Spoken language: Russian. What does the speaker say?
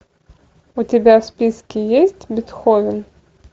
у тебя в списке есть бетховен